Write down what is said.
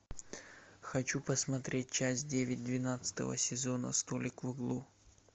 хочу посмотреть часть девять двенадцатого сезона столик в углу